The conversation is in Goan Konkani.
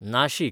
नाशीक